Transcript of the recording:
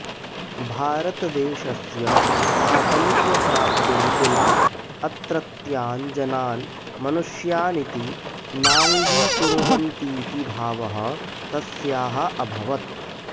भारतदेशस्य स्वातन्त्र्यप्राप्तिं विना अत्रत्यान् जनान् मनुष्यानिति नाङ्गीकुर्वन्तीति भावः तस्याः अभवत्